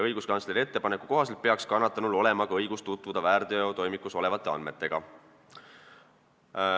Õiguskantsleri ettepaneku kohaselt peaks kannatanul olema õigus tutvuda ka väärteotoimikus olevate andmetega.